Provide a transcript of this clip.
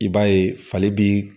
I b'a ye fali bi